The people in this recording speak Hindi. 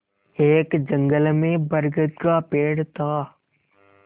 एक जंगल में बरगद का पेड़ था